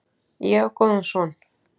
Ég á góðan son.